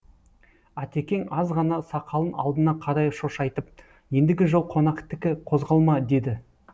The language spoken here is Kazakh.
атекең аз ғана сақалын алдына қарай шошайтып ендігі жол қонақтікі қозғалма деді